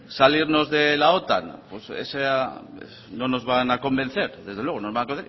salirnos de la otan pues esa no nos van a convencer desde luego no nos